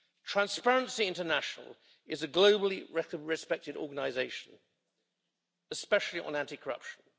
Transparency International is a globally respected organisation, especially on anti corruption.